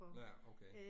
Ja, okay